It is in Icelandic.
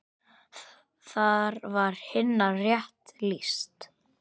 Þar var Hinna rétt lýst.